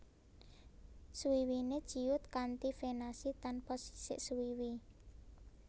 Swiwine ciut kanti venasi tanpa sisik swiwi